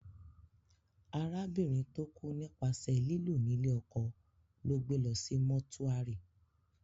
Arábìnrin tó kú nípasẹ̀ lílù ní lé ọkọ lọ́ gbé lọ sí mọ́túárì